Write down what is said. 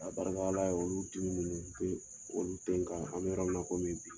Ka barika Ala ye olu dimi ninnu te, olu te kan, an mi yɔrɔ min na komi bi.